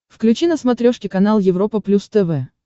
включи на смотрешке канал европа плюс тв